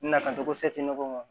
Na ka to